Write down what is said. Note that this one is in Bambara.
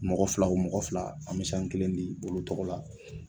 Mɔgɔ fila o mɔgɔ fila an mi sanu kelen di olu tɔgɔ la